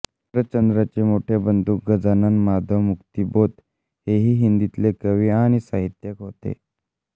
शरच्चंद्रांचे मोठे बंधू गजानन माधव मुक्तिबोध हेही हिंदीतले कवी आणि साहित्यिक होते